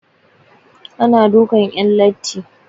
Ana dukan 'yan latti.